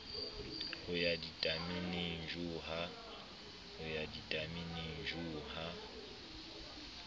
ho ya ditameneng shu ha